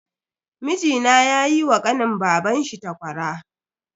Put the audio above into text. Mijina yayi wa kanin babanshi takwara.